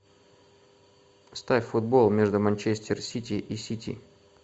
ставь футбол между манчестер сити и сити